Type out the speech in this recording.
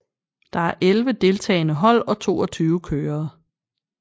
Der er elve deltagende hold og toogtyve kørere